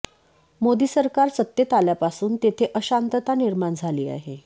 मोदी सरकार सत्तेत आल्यापासून तेथे अशांतता निर्माण झाली आहे